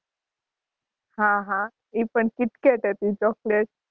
હાં હાં એ પણ Kitkat હતી Chocolate